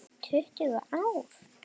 Tuttugu ár!